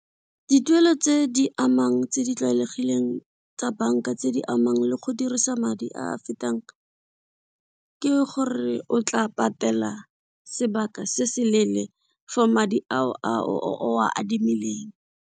Dituelo tse di amang tse di tlwaelegileng tsa banka tse di amang le go dirisa madi a a fetang ke gore o tla patela sebaka se se leele for madi ao a o a adimileng.